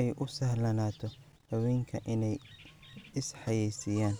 ay u sahlanaato haweenka inay is xayeysiiyaan.